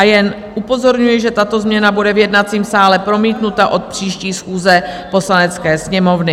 A jen upozorňuji, že tato změna bude v jednacím sále promítnuta od příští schůze Poslanecké sněmovny.